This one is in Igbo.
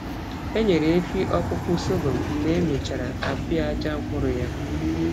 Enyere efi ọkpụkpụ sọgọm mgbe e mechara apịaja mkpụrụ ya.